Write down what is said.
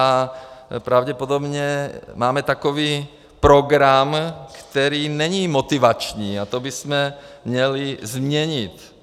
A pravděpodobně máme takový program, který není motivační, a to bychom měli změnit.